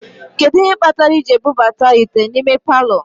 Kedu ihe kpatara I ji ebubata ite n'ime palọ?